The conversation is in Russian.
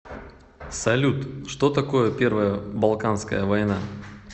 салют что такое первая балканская война